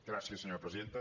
gràcies senyora presidenta